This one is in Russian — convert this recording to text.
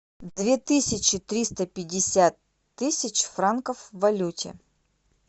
две тысячи триста пятьдесят тысяч франков в валюте